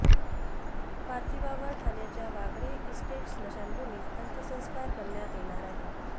पार्थिवावर ठाण्याच्या वागळे इस्टेट स्मशानभूमीत अंत्यसंस्कार करण्यात येणार आहेत